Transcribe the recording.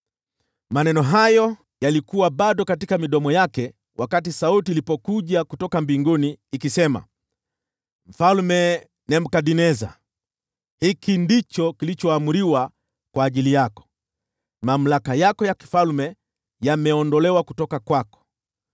Maneno hayo yalikuwa bado katika midomo yake wakati sauti ilipokuja kutoka mbinguni, ikisema, “Mfalme Nebukadneza, hiki ndicho kilichoamriwa kwa ajili yako: Mamlaka yako ya ufalme yameondolewa kutoka kwako.